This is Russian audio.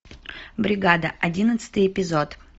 бригада одиннадцатый эпизод